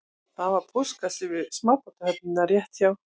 Það var póstkassi við smábátahöfnina rétt hjá